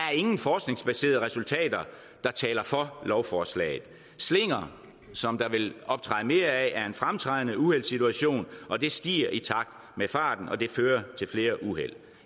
er ingen forskningsbaserede resultater der taler for lovforslaget slinger som der vil optræde mere af er en fremtrædende uheldssituation og det stiger i takt med farten og det fører til flere uheld